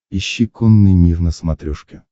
ищи конный мир на смотрешке